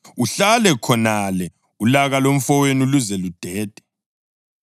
Uhlale khonale ulaka lomfowenu luze ludede.